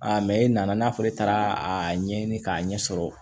e nana n'a fɔ ne taara a ɲɛɲini k'a ɲɛ sɔrɔ